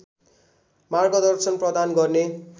मार्गदर्शन प्रदान गर्ने